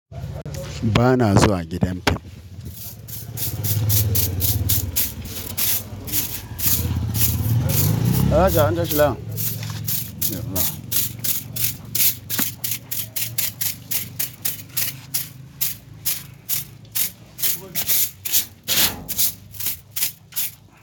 Ba na zuwa gidan film. Haja, antashi lahiya. Ya Allah.